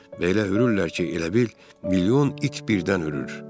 Və elə hürürlər ki, elə bil milyon it birdən hürür.